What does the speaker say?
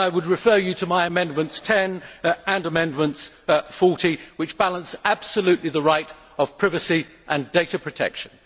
I would refer you to my Amendments No 10 and No 40, which balance absolutely the right of privacy and data protection.